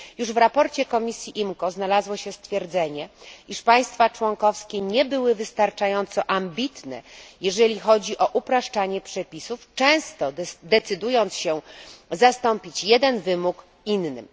Już w sprawozdaniu komisji IMCO znalazło się stwierdzenie, iż państwa członkowskie nie były wystarczająco ambitne, jeżeli chodzi o upraszczanie przepisów, często decydując się zastąpić jeden wymóg innym.